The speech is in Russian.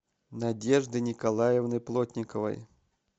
надежды николаевны плотниковой